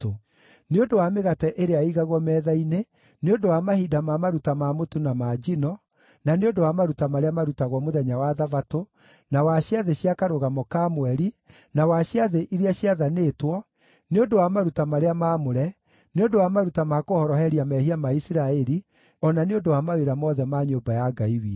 nĩ ũndũ wa mĩgate ĩrĩa ĩigagwo metha-inĩ; nĩ ũndũ wa mahinda ma maruta ma mũtu na ma njino; na nĩ ũndũ wa maruta marĩa marutagwo mũthenya wa Thabatũ, na wa ciathĩ cia Karũgamo ka Mweri, na wa ciathĩ iria ciathanĩtwo; nĩ ũndũ wa maruta marĩa maamũre; nĩ ũndũ wa maruta ma kũhoroheria mehia ma Isiraeli; o na nĩ ũndũ wa mawĩra mothe ma nyũmba ya Ngai witũ.